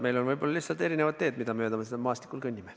Meil on võib-olla lihtsalt erinevad teed, mida mööda me seal maastikul kõnnime.